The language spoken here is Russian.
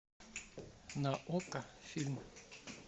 на окко фильм